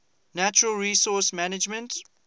natural resource management